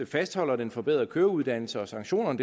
fastholder den forbedrede køreuddannelse og sanktionerne